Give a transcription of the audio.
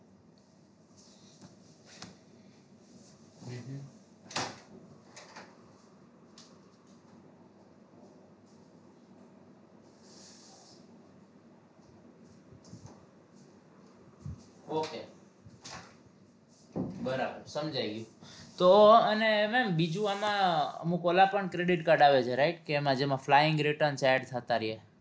okay બરાબર સમજાય ગયું તો અને ma'am બીજું આમાં અમુક ઓલા પણ credit card આવે છે right કે આમાં જેમાં flying return add થતા રીએ